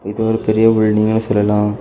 இது ஒரு பெரிய பில்டிங்னு சொல்லலா.